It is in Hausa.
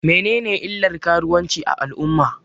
Menene illan karuwanci a al'umma?